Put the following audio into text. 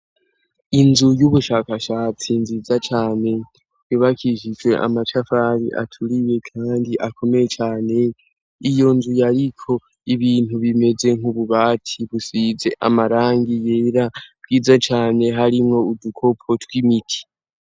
Inzu y'ubushakashatsi nziza cane yubakishijwe amatafari aturiye kandi akomeye cane, iyo nzu yariko ibintu bimeze nk'ububati busize amarangi yera bwiza cane harimwo udukopo tw'imiti.